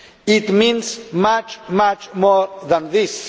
It means much, much more than this.